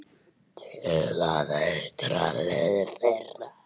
Til að eitra líf þeirra.